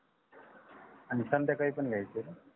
आणि संध्यायकाळी पण घ्यायच ण